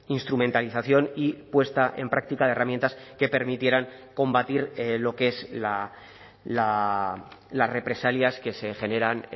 instrumentalización y puesta en práctica de herramientas que permitieran combatir lo que es las represalias que se generan